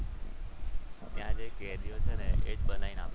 ત્યાં જે કેદીઓ છે ને એ જ બનાવીને આપે છે.